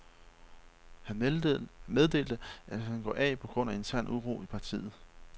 Han meddelte, at han går af på grund af intern uro i partiet.